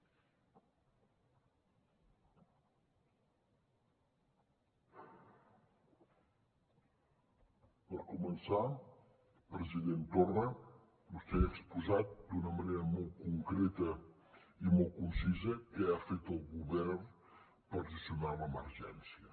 per començar president torra vostè ha exposat d’una manera molt concreta i molt concisa què ha fet el govern per gestionar l’emergència